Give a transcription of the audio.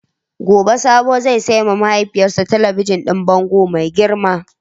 Gobe Sabo zai sayi ma mahaifiyarsa talabijin din bango mai girma.